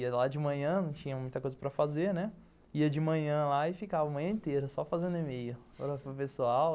Ia lá de manhã, não tinha muita coisa para fazer, né, ia de manhã e ficava a manhã inteira só fazendo e-mail para pessoal.